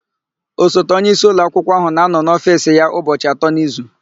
Osote onyeisi ụlọakwụkwọ áhụ̀ na-anọ n'ofiisi ya ụbọchị atọ n'izu.